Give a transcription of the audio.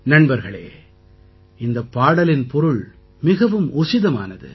நண்பர்களே இந்தப் பாடலின் பொருள் மிகவும் உசிதமானது